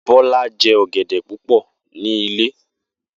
Bola je ọ̀gẹ̀dẹ̀ púpò ní ilé.